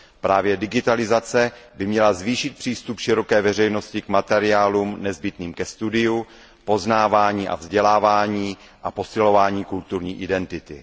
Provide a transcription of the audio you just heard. Právě digitalizace by měla zvýšit přístup široké veřejnosti k materiálům nezbytným ke studiu, poznávání a vzdělávání a posilování kulturní identity.